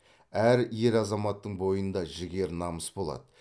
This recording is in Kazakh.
әр ер азаматтың бойында жігер намыс болады